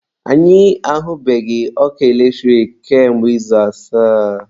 Anyị ahubeghị ọkụ eletrik kamgbe izu asaa